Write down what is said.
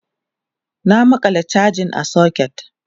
na maƙala chajan a socket